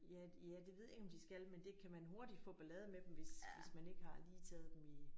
Ja ja det ved jeg ikke om de skal men det kan man hurtigt få ballade med dem hvis hvis man ikke har lige taget dem i